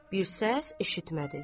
Bir səs eşitmədi.